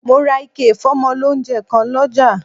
Mo ra ike ìfómọ lóunjẹ kan lọ́jà